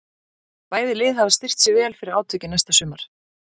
Bæði lið hafa styrkt sig vel fyrir átökin næsta sumar.